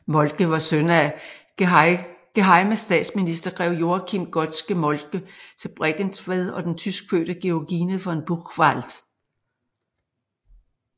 Moltke var søn af gehejmestatsminister grev Joachim Godske Moltke til Bregentved og den tyskfødte Georgine von Buchwald